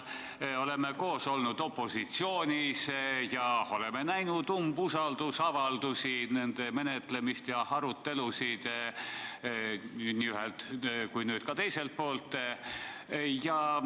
Me oleme olnud koos opositsioonis ja oleme näinud umbusaldusavaldusi, nende menetlemist ja arutelusid nii ühelt kui nüüd ka teiselt poolt.